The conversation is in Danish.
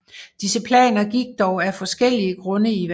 Disse planer gik dog af forskellige grunde i vasken